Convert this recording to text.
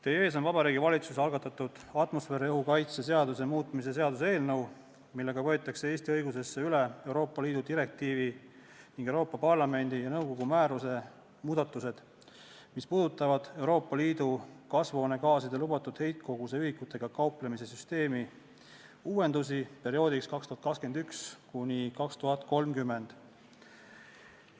Teie ees on Vabariigi Valitsuse algatatud atmosfääriõhu kaitse seaduse muutmise seaduse eelnõu, millega võetakse Eesti õigusesse üle Euroopa Liidu direktiivi ning Euroopa Parlamendi ja nõukogu määruse muudatused, mis puudutavad Euroopa Liidu kasvuhoonegaaside lubatud heitkoguse ühikutega kauplemise süsteemi uuendusi perioodiks 2021–2030.